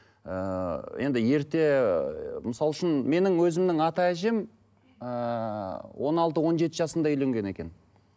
ыыы енді ерте ы мысалы үшін менің өзімнің ата әжем ыыы он алты он жеті жасында үйленген екен